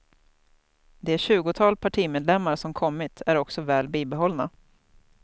Det tjugotal partimedlemmar som kommit är också väl bibehållna.